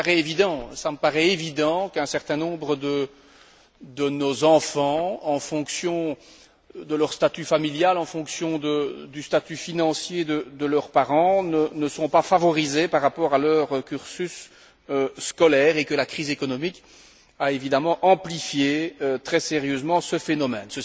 Il me paraît évident qu'un certain nombre de nos enfants, en fonction de leur statut familial, en fonction du statut financier de leurs parents, ne sont pas favorisés par rapport à leur cursus scolaire et que la crise économique a évidemment amplifié très sérieusement ce phénomène.